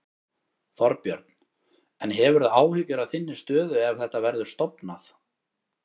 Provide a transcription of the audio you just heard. Þorbjörn: En hefurðu áhyggjur af þinni stöðu ef að þetta verður stofnað?